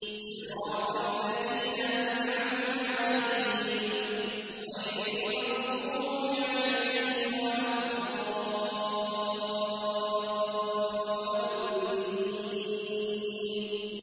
صِرَاطَ الَّذِينَ أَنْعَمْتَ عَلَيْهِمْ غَيْرِ الْمَغْضُوبِ عَلَيْهِمْ وَلَا الضَّالِّينَ